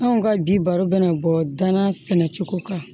Anw ka bi baro bɛ na bɔ danna sɛnɛ cogo kan